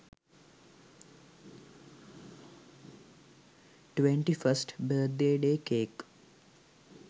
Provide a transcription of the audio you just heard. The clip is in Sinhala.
21st birthday cake